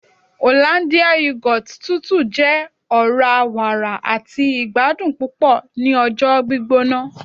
hollandia yoghurt tútù jẹ ọra-wàrà àti ìgbadùn púpò ni ọjọ gbígbóná